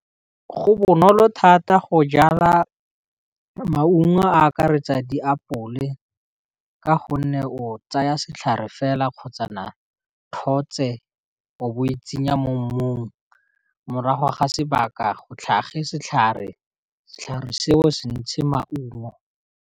Go bonolo thata go jala maungo a akaretsa diapole ka gonne o tsaya setlhare fela kgotsana tlhotswe o bo o itsenya mo mmung, morago ga sebaka go tlhage setlhare, setlhare seo se ntshe maungo.